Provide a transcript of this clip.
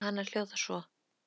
Dæmið um hana hljóðar svo